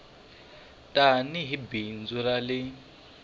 tani hi bindzu ra le